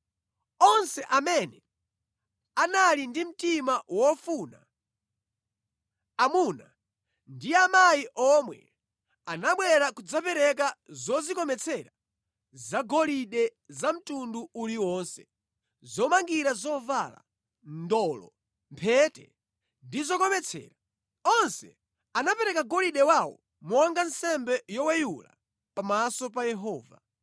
Onse amene anali ndi mtima wofuna, amuna ndi amayi omwe anabwera kudzapereka zodzikometsera zagolide za mtundu uliwonse: zomangira zovala, ndolo, mphete ndi zokometsera. Onse anapereka golide wawo monga nsembe yoweyula pamaso pa Yehova.